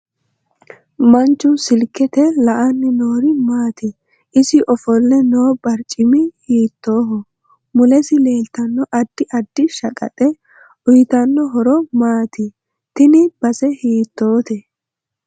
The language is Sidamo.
Manchu silkete la'ani noori maati isi ofolle noo barcimi hiitooho mulesi leeltanno addi addi shaqaxe uyiitanno horo maati tini base hiitoote